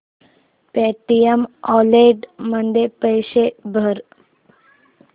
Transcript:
Paytm wallet मध्ये पैसे भर